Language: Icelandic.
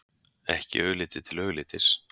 Ekki augliti til auglitis.